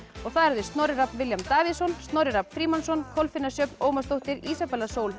það eru þau Snorri Rafn William Davíðsson Snorri Rafn Frímannsson Kolfinna Sjöfn Ómarsdóttir Ísabella Sól